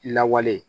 Lawale